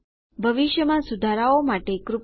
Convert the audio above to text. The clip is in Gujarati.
ભવિષ્યમાં સુધારાઓ માટે કૃપા કરી ઉમેદવારી નોંધાવો